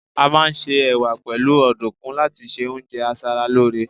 a ma n se ẹwà pẹlu ọdunkun láti ṣe oúnjẹ asaralore